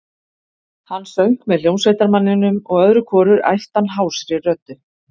Hann söng með hljómsveitarmanninum og öðru hvoru æpti hann hásri röddu